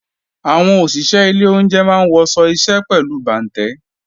Àwọn òṣìṣé ilé oúnje máa ń wọṣọ iṣẹ́ pẹ̀lú bàǹtẹ́